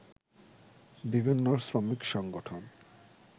বিভিন্ন শ্রমিক সংগঠন